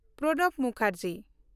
Pranab Mukherjee